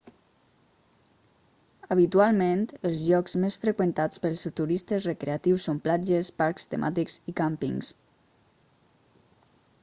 habitualment els llocs més freqüentats pels turistes recreatius són platges parcs temàtics i càmpings